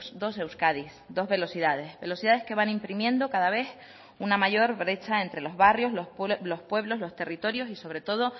dos euskadis dos velocidades velocidades que van imprimiendo cada vez una mayor brecha entre los barrios los pueblos los territorios y sobre todo